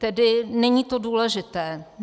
Tedy není to důležité.